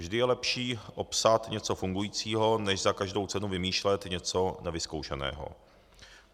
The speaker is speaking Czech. Vždy je lepší opsat něco fungujícího než za každou cenu vymýšlet něco nevyzkoušeného.